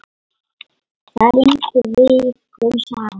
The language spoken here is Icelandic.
Það rigndi vikum saman.